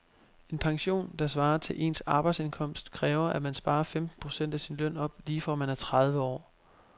En pension, der svarer til ens arbejdsindkomst, kræver at man sparer femten procent af sin løn op lige fra man er tredive år.